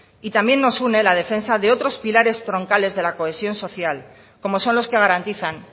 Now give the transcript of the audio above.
y también nos une la defensa de otros pilares troncales de la cohesión social como son los que garantizan